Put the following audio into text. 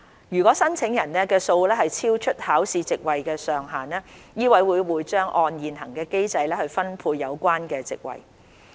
如申請人數超出考試席位的上限，醫委會將會按現行機制分配有關席位。